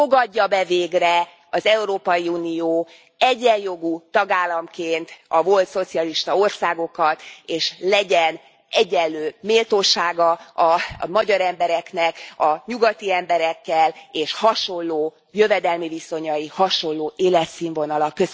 Fogadja be végre az Európai Unió egyenjogú tagállamként a volt szocialista országokat, és legyen egyenlő méltósága a magyar embereknek a nyugati emberekkel, és hasonló jövedelmi viszonyai, hasonló életszínvonala.